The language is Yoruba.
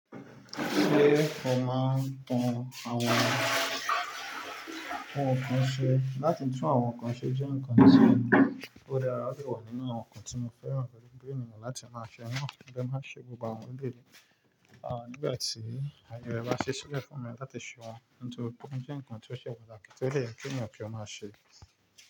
Ṣé o máa ń tún àwọn nǹkan ṣe? Láti tún àwọn nǹkan ṣe jẹ́ nǹkan tí èmi ó rí ará rí wà nínú àwọn nǹkan tí mo fẹ́ran pẹ̀lú bí ènìyàn láti máa ṣe. Ó máa ń ṣe gbogbo àwọn ele. À nígbà tí aye rẹ bá ṣí sílẹ̀ fún mi láti ṣe wọn. Nítorí pé ó jẹ́ nǹkan tí ó ṣe pàtàkì tí ó dẹ̀ yẹ kí ènìyàn kí ó máa ṣe.